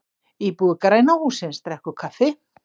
Íbúi græna hússins drekkur kaffi.